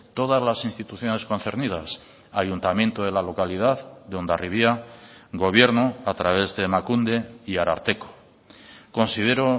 todas las instituciones concernidas ayuntamiento de la localidad de hondarribia gobierno a través de emakunde y ararteko considero